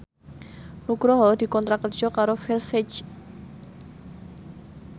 Nugroho dikontrak kerja karo Versace